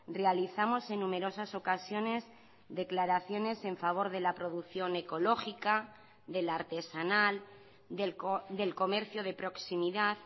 realizamos en numerosas ocasiones declaraciones en favor de la producción ecológica de la artesanal del comercio de proximidad